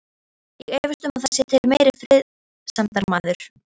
Ég efast um að það sé til meiri friðsemdarmaður.